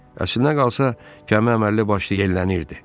Əslinə qalsa, gəmi əməlli başlı yellənirdi.